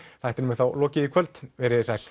þættinum er þá lokið í kvöld verið sæl